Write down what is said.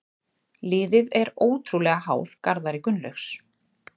Liðið er ótrúlega háð Garðari Gunnlaugs.